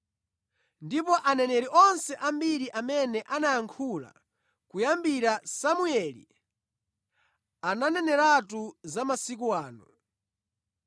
“Ndipo aneneri onse ambiri amene anayankhula kuyambira Samueli, ananeneratu za masiku ano.